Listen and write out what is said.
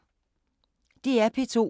DR P2